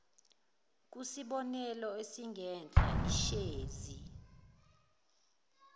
kusibonelo esingenhla ishezi